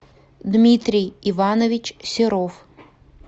дмитрий иванович серов